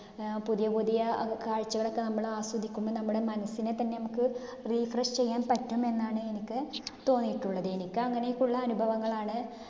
അഹ് പുതിയപുതിയ അഹ് കാഴ്ചകളൊക്കെ നമ്മള് ആസ്വദിക്കുമ്പോ നമ്മടെ മനസ്സിനെ തന്നെ നമ്മുക്ക് refresh ചെയ്യാൻ പറ്റുമെന്നാണ് എനിക്ക് തോന്നിയിട്ടുള്ളത്. എനിക്ക് അങ്ങിനെയൊക്കെയുള്ള അനുഭവങ്ങളാണ്